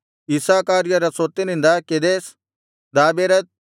ಇಸ್ಸಾಕಾರ್ಯರ ಸ್ವತ್ತಿನಿಂದ ಕೆದೆಷ್ ದಾಬೆರತ್